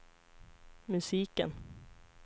musiken